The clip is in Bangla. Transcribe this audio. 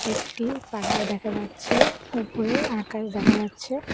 একটি পাহাড় দেখা যাচ্ছে ওপরে আকাশ দেখা যাচ্ছে।